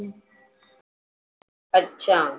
अच्छा.